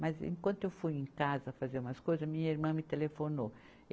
Mas, enquanto eu fui em casa fazer umas coisas, minha irmã me telefonou.